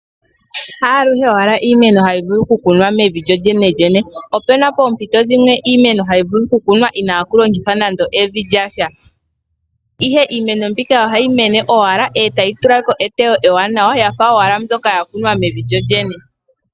Ha aluhe iimeno hayi vulu okukunwa mevi lyolyene. Opu na poompito dhimwe iimeno hayi vulu okukunwa inaaku longithwa nando evi lya sha, ihe iimeno mbika ohayi mene owala e tayi tula ko eteyo ewanawa ya fa owala mbyoka ya kunwa mevi lyolyene.